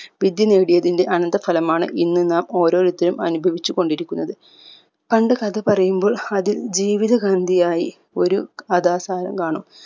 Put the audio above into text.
വിദ്യ നേടിയതിന്റെ അനന്തര ഫലമാണ് ഇന്ന് നാം ഓരോരുത്തരും അനുഭവിച്ച് കൊണ്ടിരിക്കുന്നത് പണ്ട് കഥ പറയുമ്പോൾ അതിൽ ജീവിതകാന്തിയായി ഒരു കഥാസാരം കാണും